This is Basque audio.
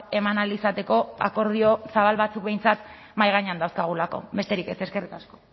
eman ahal izateko akordio zabal batzuk behintzat mahai gainean dauzkagulako besterik ez eskerrik asko